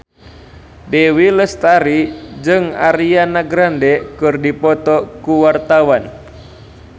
Dewi Lestari jeung Ariana Grande keur dipoto ku wartawan